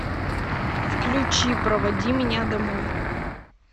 включи проводи меня домой